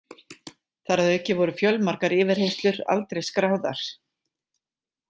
Þar að auki voru fjölmargar yfirheyrslur aldrei skráðar.